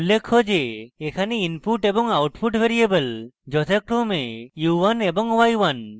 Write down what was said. উল্লেখ্য যে এখানে input এবং output ভ্যারিয়েবল যথাক্রমে u1 এবং u1